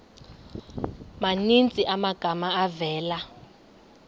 maninzi amagama avela